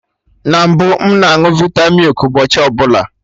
Na mbụ, m na añụ vita milk ụbọchị ọbụla